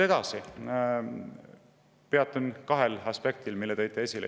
Peatun kahel aspektil, mille tõite esile.